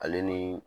Ale ni